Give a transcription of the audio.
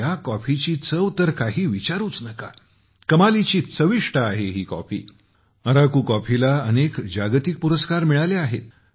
ह्या कॉफीची चव तर काही विचारूच नका कमालीची चविष्ट आहे ही कॉफी अराकू कॉफीला अनेक जागतिक पुरस्कार मिळाले आहेत